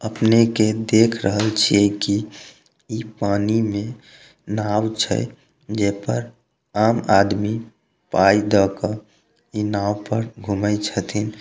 अपने के देख रहल छै की ई पानी में नाव छै जे पर आम आदमी इ नाव पर घूमए छतीन।